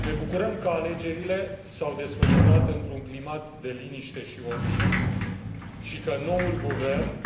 Ne bucurăm că alegerile s au desfășurat într un climat de liniște și ordine și că noul guvern